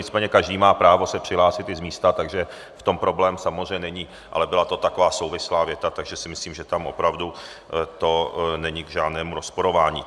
Nicméně každý má právo se přihlásit i z místa, takže v tom problém samozřejmě není, ale byla to taková souvislá věta, takže si myslím, že tam opravdu to není k žádnému rozporování.